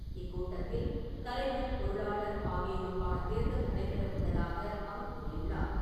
இக்கூட்டத்தில் தலைவர், பொருளாளர் ஆகியோருக்கான தேர்தல் நடைபெற உள்ளதாக அவர் கூறியுள்ளார்.